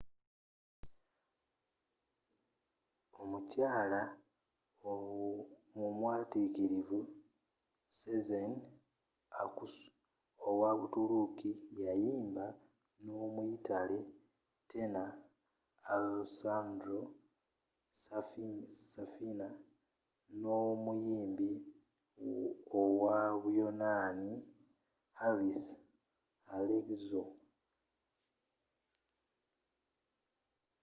omukyaala omwatikirivu sezen aksu owa butuluki yayimba n'omuyitale tenor alessandro safina n'omuyimbi owa buyonaani harris alexiou